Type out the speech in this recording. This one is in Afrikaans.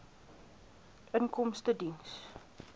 inkomstediens